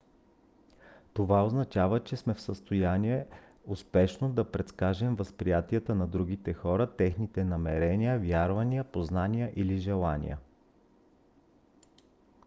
това означава че сме в състояние успешно да предскажем възприятията на другите хора техните намерения вярвания познание или желания